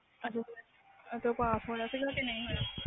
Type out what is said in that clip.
ਓਦੋ ਪਾਸ ਹੋਇਆ ਸੀ ਕੇ ਨਹੀਂ ਹੋਇਆ